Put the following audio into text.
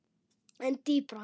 En dýpra?